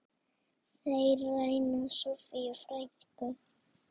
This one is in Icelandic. Þeir ræna Soffíu frænku.